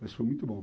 Mas foi muito bom.